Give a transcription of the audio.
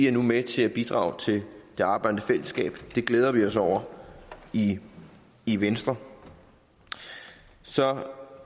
er med til at bidrage til det arbejdende fællesskab det glæder vi os over i i venstre så